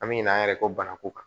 An bɛ ɲina an yɛrɛ kɔ banako kan